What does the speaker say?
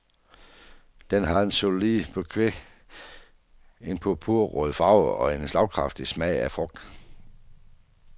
Den har en solid bouquet, en purpurrød farve og en slagkraftig smag af frugt.